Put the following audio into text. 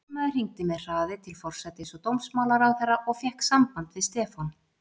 Sýslumaður hringdi með hraði til forsætis- og dómsmálaráðherra og fékk samband við Stefán